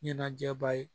Ɲɛnajɛba ye